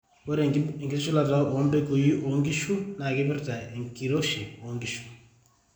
ore enkitushulata oo mpekui oo nkishu na kipirta enkioshi oo nkishu